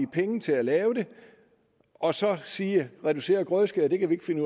penge til at lave det og så siger reducerede grødeskæring kan vi ikke finde